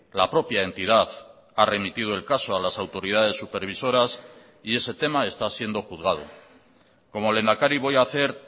la propia entidad ha remitido el caso a las autoridades supervisoras y ese tema está siendo juzgado como lehendakari voy a hacer